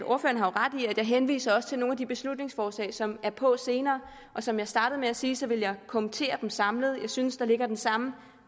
jeg også henviser til nogle af de beslutningsforslag som er på senere som jeg startede med at sige ville jeg kommentere den samlet jeg synes at der ligger den samme